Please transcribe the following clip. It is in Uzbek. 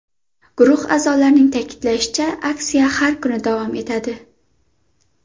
Guruh a’zolarining ta’kidlashicha, aksiya har kuni davom etadi.